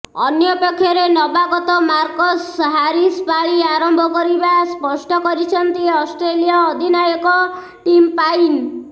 ଅନ୍ୟପକ୍ଷରେ ନବାଗତ Marcus Harris ପାଳି ଆରମ୍ଭ କରିବା ସ୍ପଷ୍ଟ କରିଛନ୍ତି ଅଷ୍ଟ୍ରେଲୀୟ ଅଧିନାୟକ ଟିମ୍ ପାଇନ୍